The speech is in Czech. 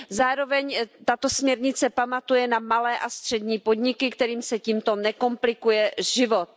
Zároveň tato směrnice pamatuje na malé a střední podniky, kterým se tímto nekomplikuje život.